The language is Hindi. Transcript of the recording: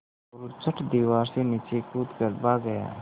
मोरू झट दीवार से नीचे कूद कर भाग गया